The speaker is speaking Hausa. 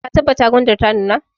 Ka tabbata gwandar ta nuna!